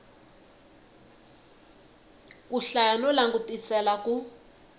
ku hlaya no langutisela ku